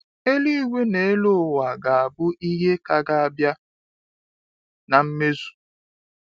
Eluigwe n'elu ụwa ga abụ ihe ka ga abịa na mmezu